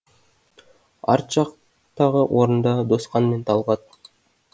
арт жақтағы орында досқан мен талғат